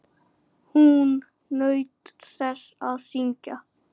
Hún naut þess að syngja.